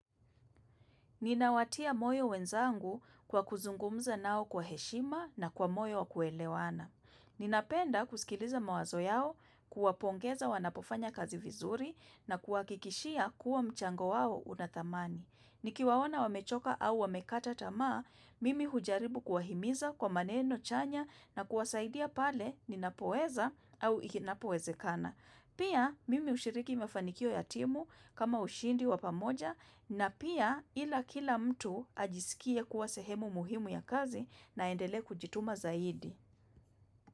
Ninawatia moyo wenzangu kwa kuzungumza nao kwa heshima na kwa moyo wa kuelewana. Ninapenda kusikiliza mawazo yao, kuwapongeza wanapofanya kazi vizuri na kuwahakikishia kuwa mchango wao unathamani. Nikiwaona wamechoka au wamekata tamaa, mimi hujaribu kuwahimiza kwa maneno chanya na kuwasaidia pale ninapoweza au inapowezekana. Pia mimi ushiriki mafanikio ya timu kama ushindi wa pamoja na pia ila kila mtu ajisikie kuwa sehemu muhimu ya kazi naendele kujituma zaidi.